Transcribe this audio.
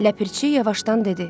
Ləpirçi yavaşdan dedi.